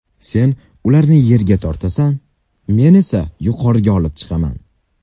Sen ularni yerga tortasan, men esa yuqoriga olib chiqaman”.